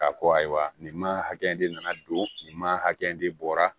K'a fɔ ayiwa nin ma hakɛ de nana don nin ma hakɛ de bɔra